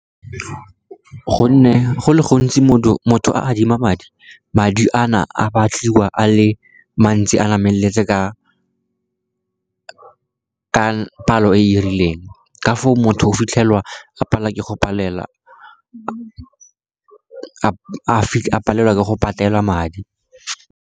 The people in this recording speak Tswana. Gonne go le gontsi motho a adima madi, madi a na a batliwa a le mantsi a nameletse ka palo e rileng ka foo motho o fitlhelwa a palelwa ke go patela madi.